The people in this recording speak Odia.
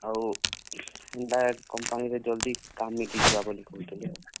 ଆଉ, direct company ରେ ଜଲ୍ ଦି କାମ୍ ମିଲିଯିବା ବଲି କହୁଥିଲେ।